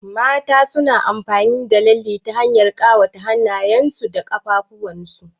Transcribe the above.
Mata suna amfani da lalle ta hanyar ƙawa hannyen su da ƙaffuwan su.